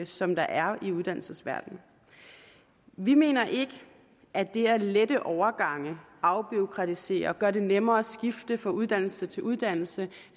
som der er i uddannelsesverdenen vi mener ikke at det at lette overgange afbureaukratisere og gøre det nemmere at skifte fra uddannelse til uddannelse